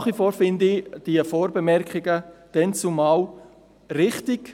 Nach wie vor finde ich diese Vorbemerkungen von damals richtig.